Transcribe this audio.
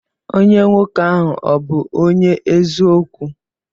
Onye nwoke ahi ọbu onye eziokwu?